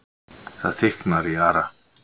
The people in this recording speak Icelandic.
Það þykknar í Ara,